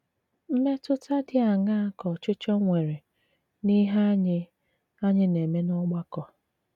Mmètùtà dị àṅàà kà òchìchọ̀ nwere n'ìhé ànyị̀ ànyị̀ na-eme n'ọ̀gbàkọ?